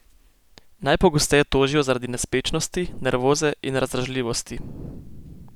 Najpogosteje tožijo zaradi nespečnosti, nervoze in razdražljivosti.